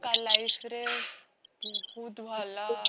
ତା life ରେ ବହୁତ ଭଲ